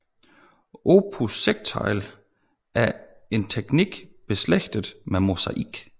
Opus sectile er en teknik beslægtet med mosaik